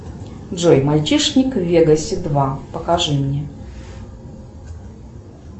джой мальчишник в вегасе два покажи мне